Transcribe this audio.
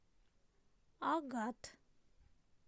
агат